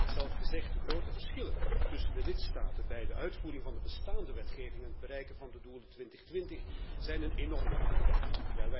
U hebt het zelf gezegd de grote verschillen tussen de lidstaten bij de uitvoering van de bestaande wetgeving en het bereiken van de doelen 2020 zijn een enorme uitdaging.